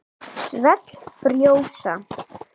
Svell frjósa.